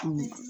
Kunun